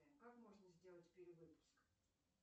как можно сделать перевыпуск